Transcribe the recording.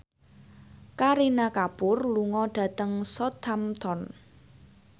Kareena Kapoor lunga dhateng Southampton